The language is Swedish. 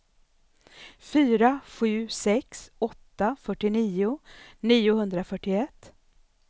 fyra sju sex åtta fyrtionio niohundrafyrtioett